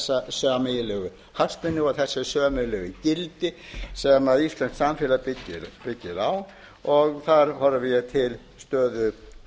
sameiginlegu hagsmuni og þessi sameiginlegu gildi sem íslenskt samfélag byggir á og þar horfi ég til stöðu